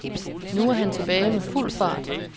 Nu er han tilbage med fuld fart.